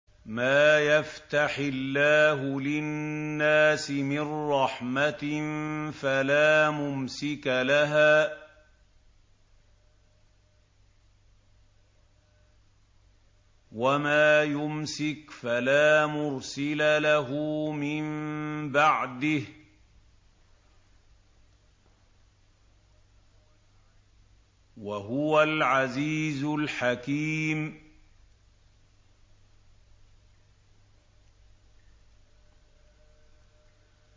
مَّا يَفْتَحِ اللَّهُ لِلنَّاسِ مِن رَّحْمَةٍ فَلَا مُمْسِكَ لَهَا ۖ وَمَا يُمْسِكْ فَلَا مُرْسِلَ لَهُ مِن بَعْدِهِ ۚ وَهُوَ الْعَزِيزُ الْحَكِيمُ